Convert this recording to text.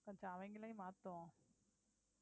கொஞ்சம் அவங்களையும் மாத்துவோம்